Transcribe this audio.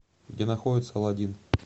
где находится аладдин